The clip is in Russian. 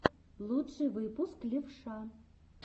лучший выпуск левша